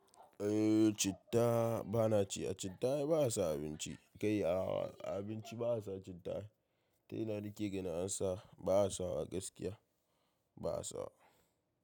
Eh citta bana ci, a citta ai ba a sa abinci, kai a, a. Abinci ba a sa citta, ta ina nike ganin ansa ba a sawa gaskiya ba a sa.